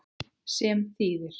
Sem þýðir?